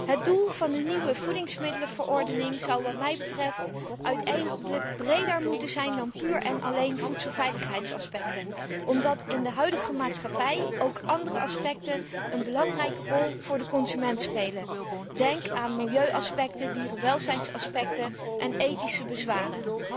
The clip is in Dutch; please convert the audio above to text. Het doel van de nieuwe voedingsmiddelenverordening zou wat mij betreft uiteindelijk breder moeten zijn dan puur en alleen voedselveiligheidsaspecten omdat in de huidige maatschappij ook andere aspecten een belangrijke rol voor de consument spelen. Denk aan milieuaspecten, dierenwelzijnaspecten en ethische bezwaren.